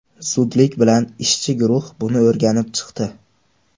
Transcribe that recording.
Zudlik bilan ishchi guruh buni o‘rganib chiqdi.